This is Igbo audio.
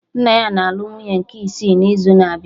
Nna ya na-alụ nwunye nke isi n'izu na-abịa